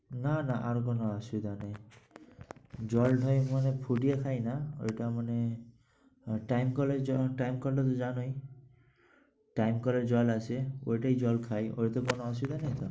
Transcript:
না না আর কোন অসুবিধা নেই। জলটাই মানে ফুটিয়ে খাই না ঐটা মানে আহ time কলের জল, time কলটা তো জানোই। time কলের জল আছে ওটাই জল খাই। ওটাতে কোন অসুবিধা নেই তো?